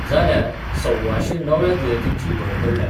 जाल्यार सव्वाशें नव्या दुयेंतींची भर पडल्या.